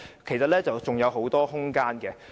當中其實是有很大空間的。